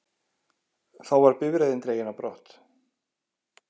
Þá var bifreiðin dregin á brott